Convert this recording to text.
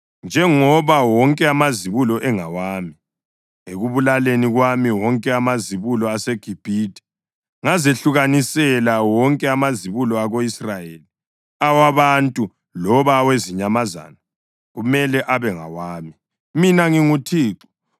njengoba wonke amazibulo engawami. Ekubulaleni kwami wonke amazibulo aseGibhithe, ngazehlukanisela wonke amazibulo ako-Israyeli, awabantu loba awezinyamazana. Kumele abe ngawami. Mina nginguThixo.”